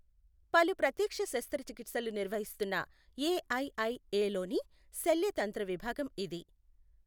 పలు ప్రత్యక్ష శస్త్రచికిత్సలు నిర్వహిస్తున్నఏఐఐఏలోని శల్య తంత్ర విభాగం ఇది.